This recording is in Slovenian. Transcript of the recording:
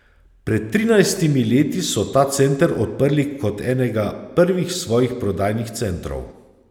Pred trinajstimi leti so ta center odprli kot enega prvih svojih prodajnih centrov.